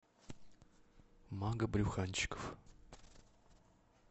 мага брюханчиков